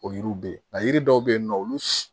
O yiriw bɛ yen nka yiri dɔw bɛ yen nɔ olu